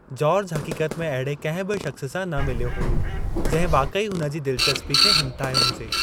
George हक़ीक़त में अहिड़े कंहिं बि शख़्स सां न मिल्यो हो ऐं जंहिं वाक़ई हुन जी दिलचस्पी खे हिमथायो हो।